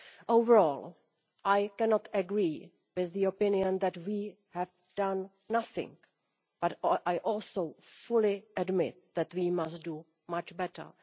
Overall, I cannot agree with the opinion that we have done nothing, but I also fully admit that we must do much better.